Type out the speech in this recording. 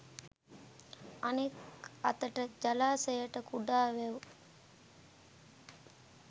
අනෙක් අතට ජලාශයට කුඩා වැව්